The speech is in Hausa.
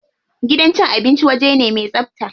Gidan cin abinci waje ne me tsabta.